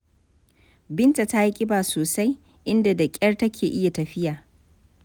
Binta ta yi ƙiba sosai, inda da ƙyar take iya tafiya.